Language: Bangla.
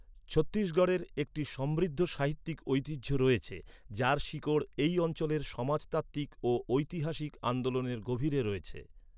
ছত্তিশগড়ের একটি সমৃদ্ধ সাহিত্যিক ঐতিহ্য রয়েছে যার শিকড় এই অঞ্চলের সমাজতাত্বিক ও ঐতিহাসিক আন্দোলনের গভীরে রয়েছে।